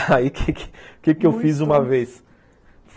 Aí, o que que que eu fiz uma vez?